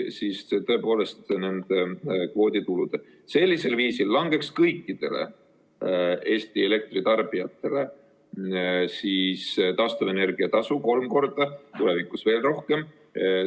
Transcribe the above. Sellisel viisil langeks kõikidele Eesti elektritarbijatele taastuvenergia tasu kolm korda, tulevikus veel rohkem.